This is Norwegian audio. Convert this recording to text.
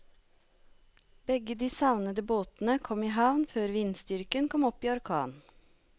Begge de savnede båtene kom i havn før vindstyrken kom opp i orkan.